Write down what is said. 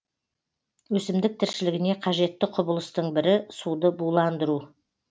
өсімдік тіршілігіне қажетті құбылыстың бірі суды буландыру